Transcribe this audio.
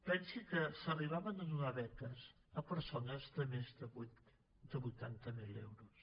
pensi que s’arribaven a donar beques a persones de més de vuitanta mil euros